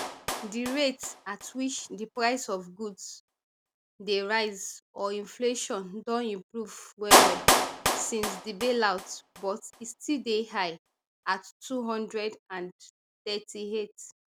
di rate at which di price of goods dey rise or inflation don improve wellwell since di bailout but e still dey high at two hundred and thirty-eight